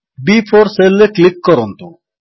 ବି4 cell ରେ click କରନ୍ତୁ